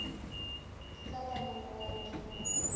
la panana o a redimoga